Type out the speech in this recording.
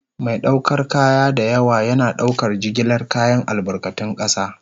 Mai ɗaukar kaya da yawa yana ɗaukar jigilar kayan albarkatun ƙasa.